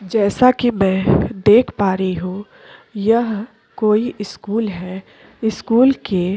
जैसा कि मैं देख पा रही हूं यह कोई स्कूल है स्कूल के --